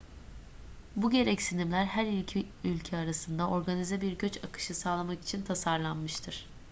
bu gereksinimler her iki ülke arasında organize bir göç akışı sağlamak için tasarlanmıştır